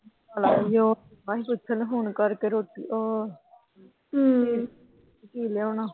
ਬਸ ਪੁੱਛਣਾ ਫੋਨ ਕਰਕੇ ਰੋਟੀ ਉਹ। ਕੀ ਲਿਆਉਣਾ।